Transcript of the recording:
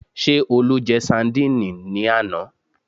Ṣé Olú jẹ sandíìnì ní àná?